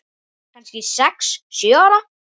Kannski sex, sjö ára.